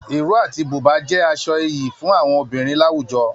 Iro àti buba jẹ aṣọ ìyí fún àwọn obìnrin láwùjọ.